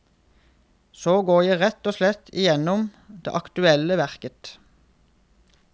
Så går jeg rett og slett igjennom det aktuelle verket.